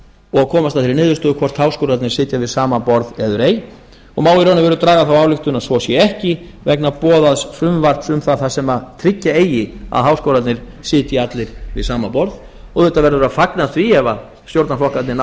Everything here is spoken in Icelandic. og komast að þeirri niðurstöðu hvort háskólarnir sitja við sama borð eður ei má í raun og veru draga þá ályktun að svo sé ekki vegna boðaðs frumvarps um það þar sem tryggja eigi að háskólarnir sitja allir við sama borð og auðvitað verður að fagna því ef stjórnarflokkarnir ná